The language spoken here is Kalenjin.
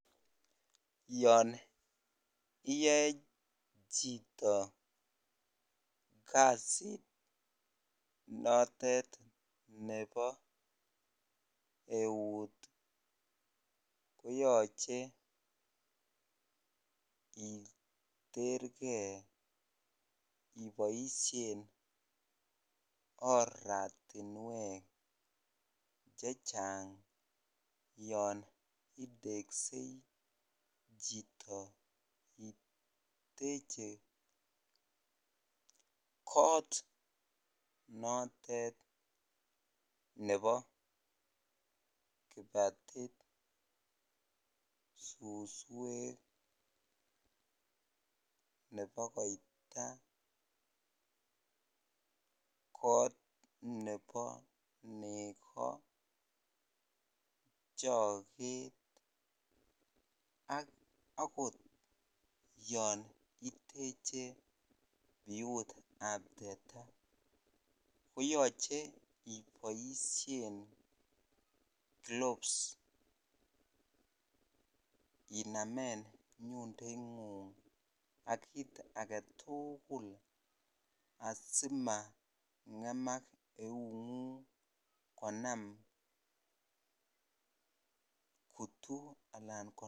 Yoon iyoe chito kasit notet nebo eut koyoche iterkee iboishen oratinwek chechang yoon iteksei chito iteche koot notet nebo kibatit, suswek, nebo koita, koot nebo nekoo, choket ak akot yoon iteche biutab teta koyoche iboishen gloves inamen nyundoingung ak kiit aketukul asimangemak eungung konam kutuu alaan.